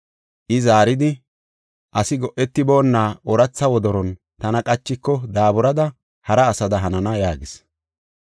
I zaaridi, “Asi go7etiboonna ooratha wodoron tana qachiko daaburada hara asada hanana” yaagis.